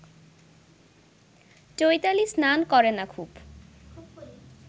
চৈতালি স্নান করে না খুব